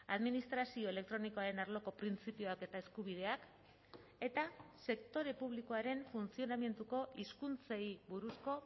administrazio elektronikoaren arloko printzipioak eta eskubideak eta sektore publikoaren funtzionamenduko hizkuntzei buruzko